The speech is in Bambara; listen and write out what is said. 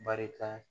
Barika